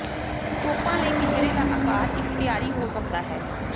ਤੋਪਾਂ ਲਈ ਪਿੰਜਰੇ ਦਾ ਆਕਾਰ ਇਖਤਿਆਰੀ ਹੋ ਸਕਦਾ ਹੈ